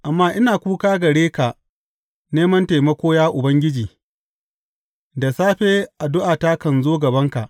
Amma ina kuka gare ka neman taimako, ya Ubangiji; da safe addu’ata kan zo gabanka.